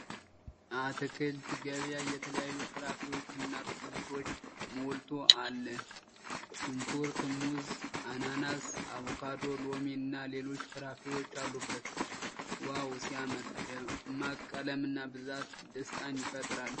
የአትክልት ገበያ የተለያዩ ፍራፍሬዎችና አትክልቶች ሞልቶ አለ !!!!። ሽንኩርት ፣ ሙዝ ፣ አናናስ ፣ አቮካዶ ፣ ሎሚ እና ሌሎች ፍሬዎች አሉበት ። ዋው ሲያምር ! ደማቅ ቀለምና ብዛት ደስታን ይፈጥራል።